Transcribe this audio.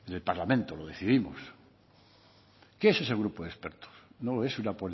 en el parlamento lo decidimos qué es ese grupo de expertos no es una